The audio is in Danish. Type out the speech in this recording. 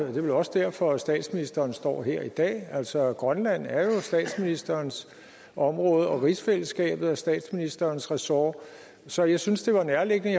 er vel også derfor at statsministeren står her i dag altså grønland er jo statsministerens område og rigsfællesskabet er statsministerens ressort så jeg syntes det var nærliggende at